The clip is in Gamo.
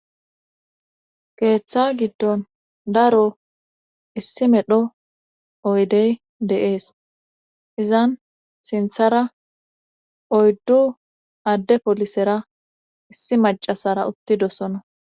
keeththa giddon daro issi medho oydey deees izan sinthara oyddu adde polisera issi macasara uttidosono